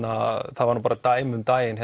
það var dæmi um daginn